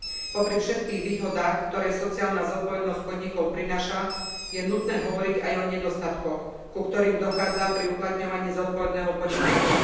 Popri všetkých výhodách, ktoré sociálna zodpovednosť podnikov prináša, je nutné hovoriť aj o nedostatkoch, ku ktorým dochádza pri uplatňovaní zodpovedného podnikania.